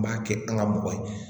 N b'a kɛ an ka mɔgɔ ye